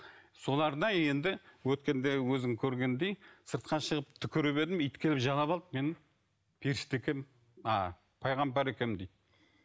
соларда енді өткенде өзің көргендей сыртқа шығып түкіріп едім ит келіп жалап алды мен періште екенмін а пайғамбар екенмін дейді